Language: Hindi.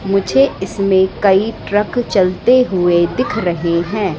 मुझे इसमें कई ट्रक चलते हुए दिख रहे हैं।